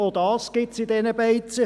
auch dies gilt in diesen Beizen.